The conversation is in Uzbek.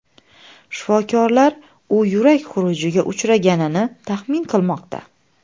Shifokorlar u yurak xurujiga uchraganini taxmin qilmoqda.